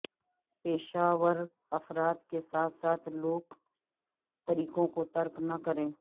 پیشہ ور افراد کے ساتھ ساتھ لوک طریقوں کو ترک نہ کریں